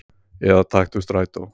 Eða taktu strætó.